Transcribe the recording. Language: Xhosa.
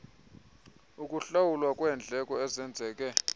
okuhlawulwa kweendleko ezenzeke